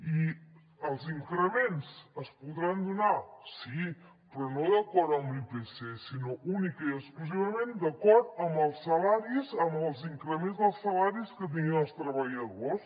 i els increments es podran donar sí però no d’acord amb l’ipc sinó únicament i exclusivament d’acord amb els salaris amb els increments dels salaris que tinguin els treballadors